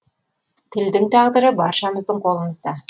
тілдің тағдыры баршамыздың қолымызда